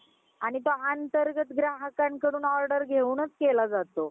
आणि आंतरगर्त ग्राहकाकडून order घेयूनच केला जातो